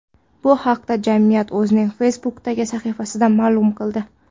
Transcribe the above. Bu haqda jamiyat o‘zining Facebook’dagi sahifasida ma’lum qildi .